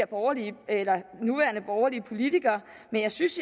borgerlige politikere men jeg synes